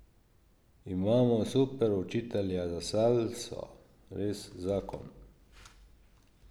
Imamo super učitelja za salso, res zakon.